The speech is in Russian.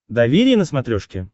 доверие на смотрешке